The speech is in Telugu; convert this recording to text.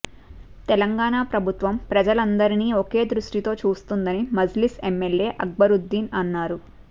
తెలంగాణ ప్రభుత్వం ప్రజలందరినీ ఒకే దృష్టితో చూస్తోందని మజ్లిస్ ఎమ్మెల్యే అక్బరుద్దీన్ అన్నారు